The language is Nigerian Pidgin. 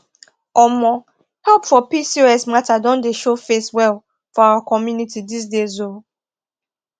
omo help for pcos matter don dey show face well for our community these days um